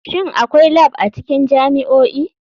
Shin akwai lab a cikin jami'o'i?